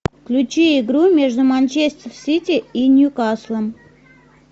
включи игру между манчестер сити и нью каслом